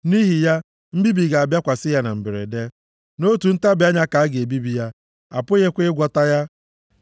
Nʼihi ya, mbibi ga-abịakwasị ya na mberede; nʼotu ntabi anya ka a ga-ebibi ya, apụghịkwa ịgwọta ya.